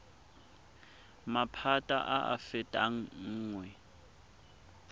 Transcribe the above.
maphata a a fetang nngwe